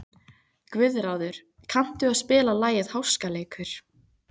Guðráður, kanntu að spila lagið „Háskaleikur“?